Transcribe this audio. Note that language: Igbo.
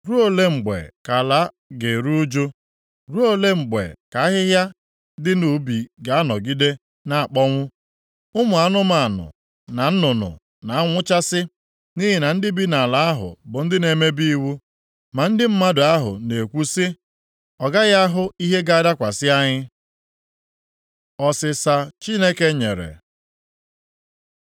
Ruo ole mgbe ka ala ga-eru ụjụ? Ruo ole mgbe ka ahịhịa dị nʼubi ga-anọgide na-akpọnwụ? Ụmụ anụmanụ na nnụnụ na-anwụchasị nʼihi na ndị bi nʼala ahụ bụ ndị na-emebi iwu. Ma ndị mmadụ ahụ na-ekwu sị, “Ọ gaghị ahụ ihe ga-adakwasị anyị.” Ọsịsa Chineke nyere